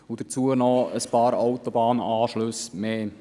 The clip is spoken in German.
Dazu kommen noch ein paar weitere Autobahnanschlüsse.